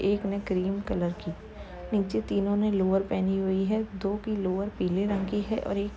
एक ने cream colour की। नीचे तीनों ने लोवर पहनी हुई हैं। दो की लोवर पीले रंग की है और एक --